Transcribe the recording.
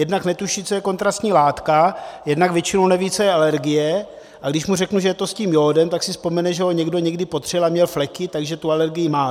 Jednak netuší, co je kontrastní látka, jednak většinou neví, co je alergie, a když mu řeknu, že je to s tím jódem, tak si vzpomene, že ho někdy někdo potřel a měl fleky, takže tu alergii má.